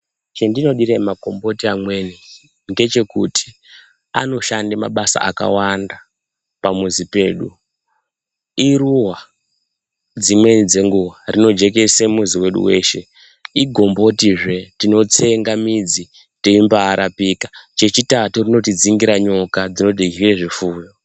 Chandinodire makomboti amweni ngechekuti anoshande mabasa akawanda pamuzi pedu, iruwa dzimweni dzenguwa rinojekese mizi wedu weshe , igombotizve tinotsenga midzi yeimbarapika, chechitatu rinotidzingira nyoka dzirye zvipfuyo.